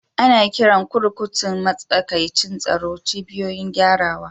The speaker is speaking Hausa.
Ana kiran kurkukun matsakaicin tsaro "cibiyoyin gyarawa".